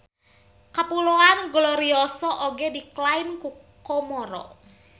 Kapuloan Glorioso oge diklaim ku Komoro.